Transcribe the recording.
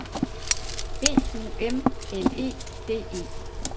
B U M L E D E